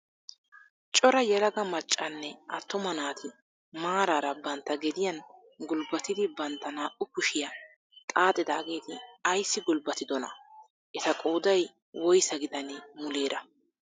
Cora yelaga maccanne attuma naati maarara bantta gediyaan gulbbatidi bantta naa"u kushiyaa xaaxidaageti ayssi gulbbatidonaa? eta qooday woysaa gidanee muleera?